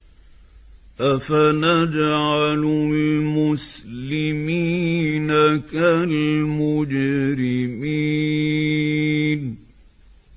أَفَنَجْعَلُ الْمُسْلِمِينَ كَالْمُجْرِمِينَ